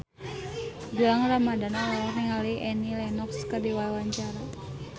Gilang Ramadan olohok ningali Annie Lenox keur diwawancara